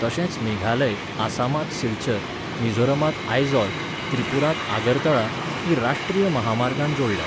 तशेंच मेघालय, आसामांत सिलचर, मिझोरामांत आयझॉल, त्रिपुरांत आगरतळा हीं राश्ट्रीय म्हामार्गांन जोडल्यांत.